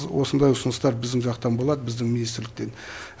осындай ұсыныстар біздің жақтан болады біздің министрліктен